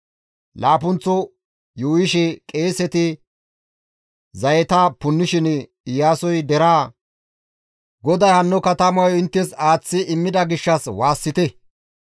Laappunththo yuuyishe qeeseti zayeta punnishin Iyaasoy deraa, «GODAY hanno katamayo inttes aaththi immida gishshas waassite!